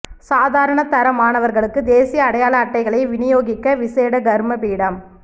சாதாரண தர மாணவர்களுக்கு தேசிய அடையாள அட்டைகளை விநியோகிக்க விசேட கருமப்பீடம்